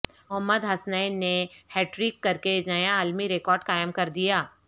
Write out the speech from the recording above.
محمد حسنین نے hat trick کرکےنیا عالمی ریکارڈ قائم کر دیا